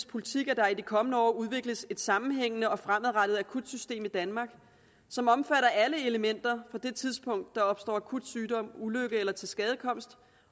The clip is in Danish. politik at der i de kommende år udvikles et sammenhængende og fremadrettet akutsystem i danmark som omfatter alle elementer fra det tidspunkt der opstår akut sygdom ulykke eller tilskadekomst